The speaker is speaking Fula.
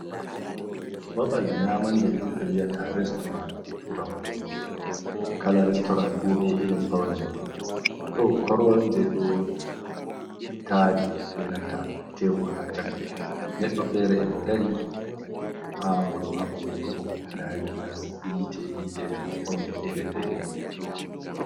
Babal nyamande ɗum ɓe wi'ata restoran. Je turankore kala restoran fu be irin faune muɗum ɗo koron je ɗo tari benanta tebur ha chaka, neɗɗo fere a modari ha moɗo haɓa wurtugo nda gilas yite yite faune fere-fere.